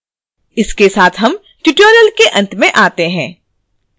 इसी के साथ हम tutorial के अंत में आते हैं